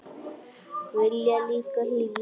Vilja líka hlýju.